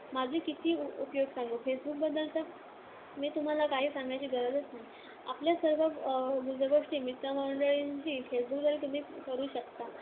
माझे किती उपयोग सांगू? फेसबुकबद्‌दल तर मी तुम्हांला काही सांगण्याची गरजच नाही. आपल्या सर्व गुजगोष्टी मित्रमंडळींशी फेसबुकद्वारे तुम्ही करू शकता.